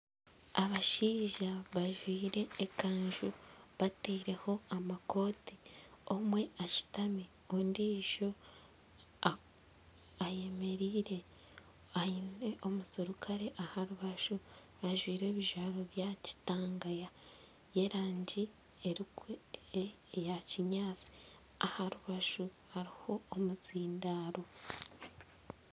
abashaija bajwire ekanju batiireho amakooti omwe ashutami ondiijo eyemereire aine omuserukare aha rubaju ajwire ebijwaro byakitanga y'erangi eya kinyaatsi aha rubaju hariho omuzindaaro